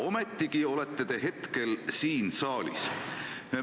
Ometigi olete te hetkel siin saalis.